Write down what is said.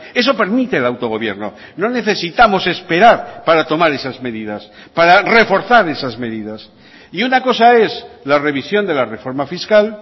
eso permite el autogobierno no necesitamos esperar para tomar esas medidas para reforzar esas medidas y una cosa es la revisión de la reforma fiscal